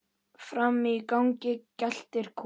Frammi í gangi geltir Kolur.